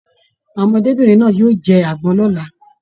Àwọn ọmọdébinrin náà yóò jẹ agbọn náà l'ọ́la.